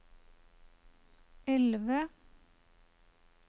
elve